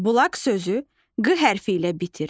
Bulaq sözü q hərfi ilə bitir.